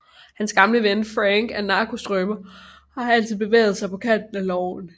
Hans gamle ven Franck er narkostrømer og har altid bevæget sig på kanten af loven